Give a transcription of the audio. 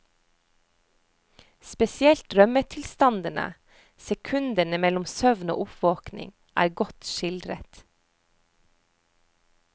Spesielt drømmetilstandene, sekundene mellom søvn og oppvåkning, er godt skildret.